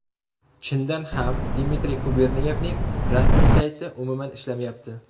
Chindan ham, Dmitriy Guberniyevning rasmiy sayti umuman ishlamayapti.